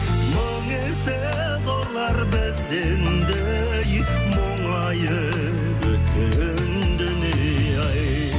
мың есе зорлар бізден де ей мұңайып өткен дүние ай